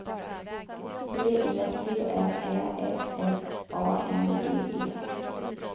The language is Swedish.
B E T R Ä F F A N D E